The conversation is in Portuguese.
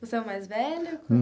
Você é o mais velho?